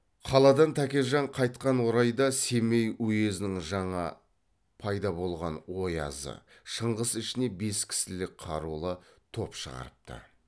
қаладан тәкежан қайтқан орайда семей уезінің жаңа пайда болған оязы шыңғыс ішіне бес кісілік қарулы топ шығарыпты